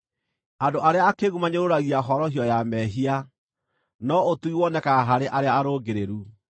Andũ arĩa akĩĩgu manyũrũragia horohio ya mehia, no ũtugi wonekaga harĩ arĩa arũngĩrĩru.